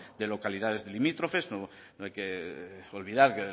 de localidades limítrofes no hay que olvidar